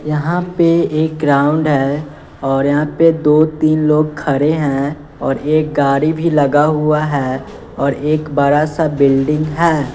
यहां पे एक ग्राउंड है और यहां पे दो तीन लोग खड़े हैं और एक गाड़ी भी लगा हुआ है और एक बड़ा सा बिल्डिंग है।